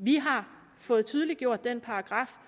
vi har fået tydeliggjort den paragraf